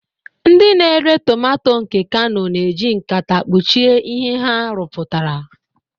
Ndị na-ere tomato nke kano na-eji nkata kpuchie ihe ha rụpụtara.